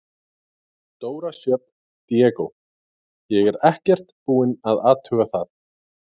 Dóra Sjöfn Diego: Ég er ekkert búin að athuga það?